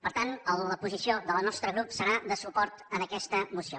per tant la posició del nostre grup serà de suport a aquesta moció